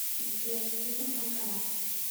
сбер едем в банкомат